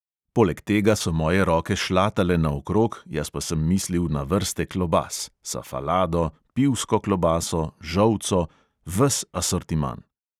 Poleg tega so moje roke šlatale naokrog, jaz pa sem mislil na vrste klobas: safalado, pivsko klobaso, žolco – ves asortiman.